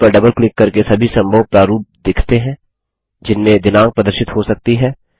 date पर double click करके सभी संभव प्रारूप दिखते हैं जिनमें दिनाँक प्रदर्शित हो सकती है